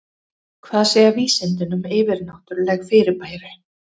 Hvað segja vísindin um yfirnáttúrleg fyrirbæri?